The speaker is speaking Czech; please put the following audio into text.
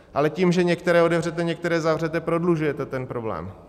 Ale tím, že některé otevřete, některé zavřete, prodlužujete ten problém.